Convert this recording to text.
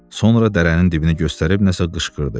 Sonra dərənin dibini göstərib nəsə qışqırdı.